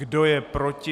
Kdo je proti?